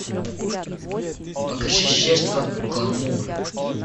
покажи жертва гламура